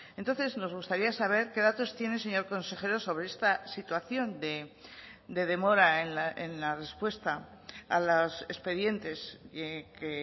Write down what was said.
entonces nos gustaría saber qué datos tiene señor consejero sobre esta situación de demora en la respuesta a los expedientes que